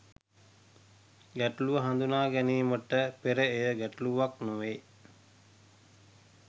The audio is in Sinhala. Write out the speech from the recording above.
ගැටලුව හඳුනා ගැනීමට පෙර එය ගැටලුවක් නොවේ.